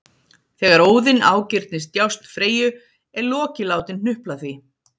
Þegar Óðinn ágirnist djásn Freyju er Loki látinn hnupla því